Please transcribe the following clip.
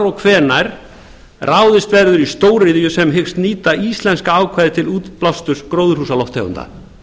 og hvenær ráðist verður í stóriðju sem hyggst nýta íslenska ákvæðið til útblásturs gróðurhúsalofttegunda